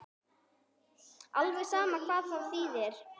Alveg sama hvar það yrði.